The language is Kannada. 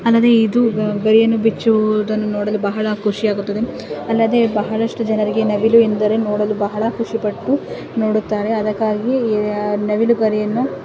ಅಲ್ಲದೆ ಇದು ಗರಿಯನ್ನು ಬಿಚ್ಚುವುದನ್ನು ನೋಡಲು ಬಹಳ ಖುಷಿಯಾಗುತ್ತದೆ. ಅಲ್ಲದೆ ಬಹಳಷ್ಟು ಜನರಿಗೆ ನವಿಲು ಎಂದರೆ ನೋಡಲು ಬಹಳ ಖುಷಿ ಪಟ್ಟು ನೋಡುತ್ತಾರೆ. ಅದಕ್ಕಾಗಿ ಅ-ನವಿಲುಗರಿಯನ್ನು--